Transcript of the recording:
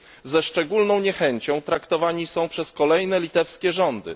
Ze szczególną niechęcią traktowani są przez kolejne litewskie rządy.